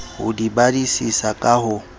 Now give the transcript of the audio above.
ho di badisisa ka ho